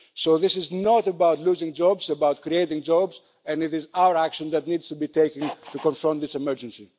So this is not about losing jobs, it is about creating jobs, and it is our action that needs to be taken to confront this emergency.